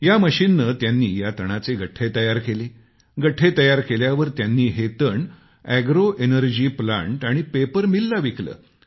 या मशीनने त्यांनी या तणाचे गठ्ठे तयार केलेत गठ्ठे तयार केल्यावर त्यांनी हे तण एग्रो एनर्जी प्लांट आणि पेपर मिलला विकले